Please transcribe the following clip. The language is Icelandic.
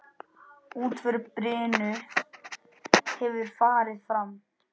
Útför Birnu hefur farið fram.